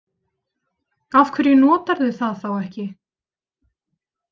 Af hverju notarðu það þá ekki?